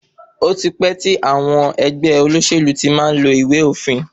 Ó ti pẹ́ tí àwọn ẹgbẹ́ olóṣèlú ti má ń lo ìwé òfin.